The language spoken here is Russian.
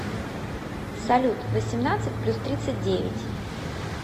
салют восемнадцать плюс тридцать девять